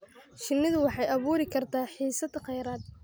Shinnidu waxay abuuri kartaa xiisad kheyraad.